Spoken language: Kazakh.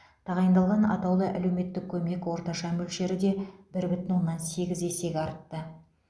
тағайындалған атаулы әлеуметтік көмек орташа мөлшері де бір бүтін оннан сегіз есеге артты